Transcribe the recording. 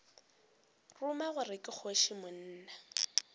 ruma gore ke kgoši monna